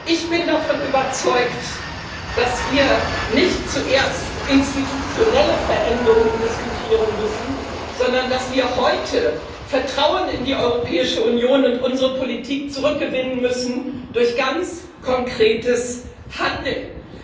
Ich bin davon überzeugt, dass wir nicht zuerst institutionelle Veränderungen diskutieren müssen, sondern dass wir heute Vertrauen in die Europäische Union und unsere Politik zurückgewinnen müssen durch ganz konkretes Handeln.